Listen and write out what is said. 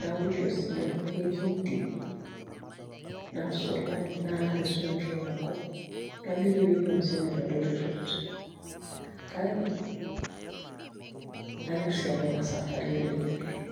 naurisho sii amu ketii ntimi, nasulari naar isoito nkung' nabik ewiki musima itu adou terruat kake kayieu sii apa ina safari odoinyio oleng'.